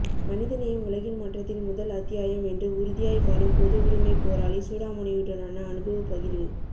மனித நேயம் உலகின் மாற்றத்தின் முதல் அத்தியாயம் என்று உறுதியாய் வாழும் பொதுவுடமை போராளி சூடாமணியுடனான அனுபவ பகிர்வு